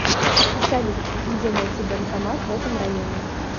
салют где найти банкомат в этом районе